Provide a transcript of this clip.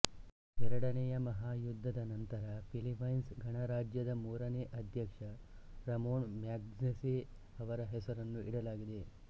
ಎರಡನೆಯ ಮಹಾಯುದ್ಧದ ನಂತರ ಫಿಲಿಪೈನ್ಸ್ ಗಣರಾಜ್ಯದ ಮೂರನೇ ಅಧ್ಯಕ್ಷ ರಮೋನ್ ಮ್ಯಾಗ್ಸೆಸೆ ಅವರ ಹೆಸರನ್ನು ಇಡಲಾಗಿದೆ